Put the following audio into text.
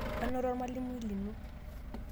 anoto olmalimui lino